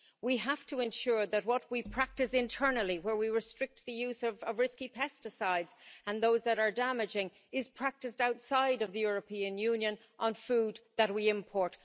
We have to ensure that what we practice internally, where we restrict the use of risky pesticides and those that are damaging, is practiced outside of the European Union on food that we import.